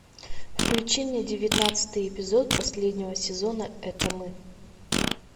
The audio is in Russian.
включи мне девятнадцатый эпизод последнего сезона это мы